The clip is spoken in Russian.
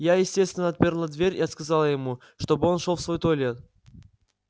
я естественно отперла дверь и сказала ему чтобы он шёл в свой туалет